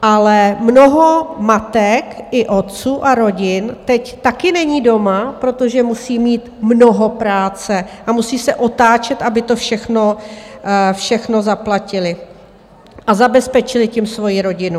Ale mnoho matek i otců a rodin teď taky není doma, protože musí mít mnoho práce a musí se otáčet, aby to všechno zaplatili a zabezpečili tím svoji rodinu.